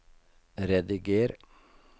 rediger